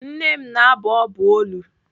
Nne m na-abụ ọbụ olu.